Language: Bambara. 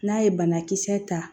N'a ye banakisɛ ta